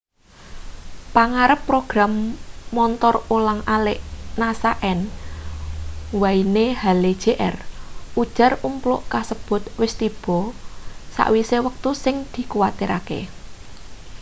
pangarep program montor ulang alik nasa n wayne hale jr ujar umpluk kasebut wis tiba sawise wektu sing dikuwatirake